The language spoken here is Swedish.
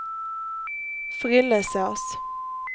Frillesås